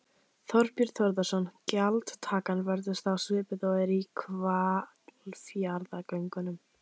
Þorbjörn Þórðarson: Gjaldtakan verður þá svipuð og er í Hvalfjarðargöngum?